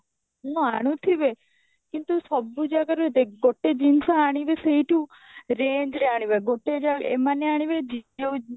ଆଣୁଥିବେ କିନ୍ତୁ ସବୁ ଜାଗାରେ ଦେଖ ଗୋଟେ ଜିନିଷ ଆଣିବେ ସେଇଠୁ range ରେ ଆଣିବେ ଗୋଟେ ଯ ଏମାନେ ଆଣିବେ ଜି ଯୋ